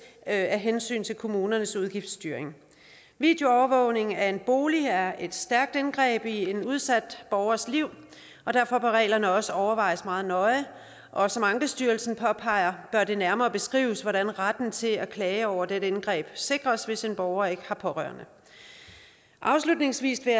af hensyn til kommunernes udgiftsstyring videoovervågning af en bolig er et stærkt indgreb i en udsat borgers liv og derfor bør reglerne også overvejes meget nøje og som ankestyrelsen påpeger bør det nærmere beskrives hvordan retten til at klage over dette indgreb sikres hvis en borger ikke har pårørende afslutningsvis vil